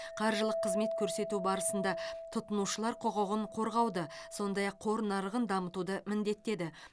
қаржылық қызмет көрсету барысында тұтынушылар құқығын қорғауды сондай ақ қор нарығын дамытуды міндеттеді